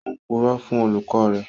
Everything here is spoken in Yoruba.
Ó ń purọ́ fún olùkọ́ rẹ̀